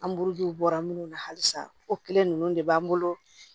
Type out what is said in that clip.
An buruju bɔra minnu na halisa o kelen ninnu de b'an bolo